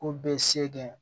K'u bɛ se kɛ